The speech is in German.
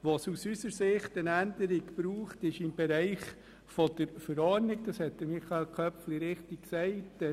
Aus unserer Sicht braucht es eine Änderung im Bereich der Verordnung, wie Michael Köpfli richtig gesagt hat;